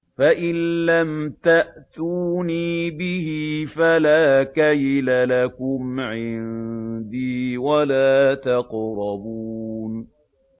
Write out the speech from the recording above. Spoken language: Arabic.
فَإِن لَّمْ تَأْتُونِي بِهِ فَلَا كَيْلَ لَكُمْ عِندِي وَلَا تَقْرَبُونِ